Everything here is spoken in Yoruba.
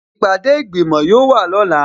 Ìpàdé ìgbìmò yóò wà lọ́la